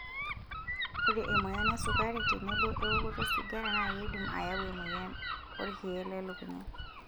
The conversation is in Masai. Ore emoyian esukari tenebo ewokoto osigara naa keidim aayau emoyian olkiye lolelukunya.